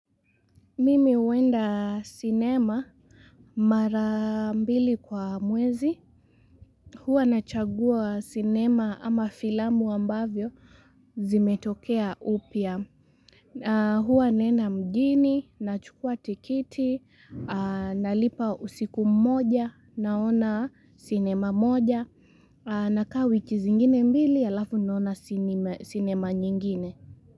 Mimi uenda sinema mara mbili kwa mwezi hua na chagua sinema ama fila ambavyo zimetokea upya hua nena mjini, nachukwa tikiti, nalipa usiku moja, naona sinema moja nakaa wi ki zingine mbili alafu nona sinema nyingine.